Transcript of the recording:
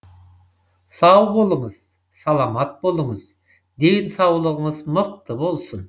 сау болыңыз саламат болыңыз денсаулығыңыз мықты болсын